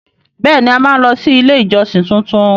Bẹẹni! A máa lọ sí ilé ìjọsìn tuntun.